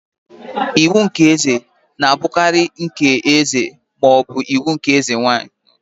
Iwu nke eze na-abụkarị nke eze ma ọ bụ eze nwanyị.